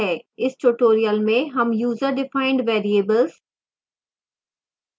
इस tutorial में हम user defined variables